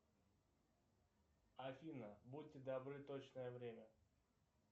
афина будьте добры точное время